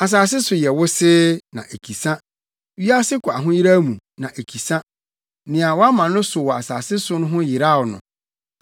Asase so yɛ wosee, na ekisa wiase kɔ ahoyeraw mu, na ekisa, nea wɔama no so wɔ asase so ho yeraw no.